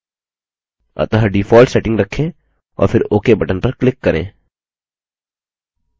अतः default settings रखें और फिर ok button पर click करें